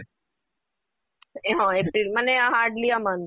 ଏ ହଁ ମାନେ hardly a month